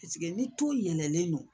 ni ton yɛlɛlen don